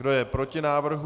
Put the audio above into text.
Kdo je proti návrhu?